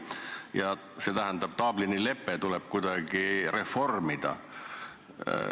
Ja see tähendab, et Dublini lepet tuleb kuidagi reformida.